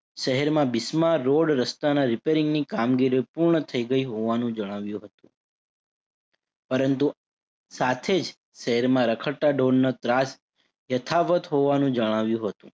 શહેરમાં રોડ રસતાના repairing ની કામગીરીઓ પૂર્ણ થઇ ગઈ હોવાનું જણાવ્યું હતું. પરંતુ સાથે જ શહેરમાં રખડતા ઢોરનો ત્રાસ યથાવત હોવાનું જણાવ્યું હતું.